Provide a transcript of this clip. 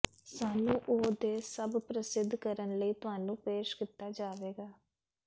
ਸਾਨੂੰ ਉਹ ਦੇ ਸਭ ਪ੍ਰਸਿੱਧ ਕਰਨ ਲਈ ਤੁਹਾਨੂੰ ਪੇਸ਼ ਕੀਤਾ ਜਾਵੇਗਾ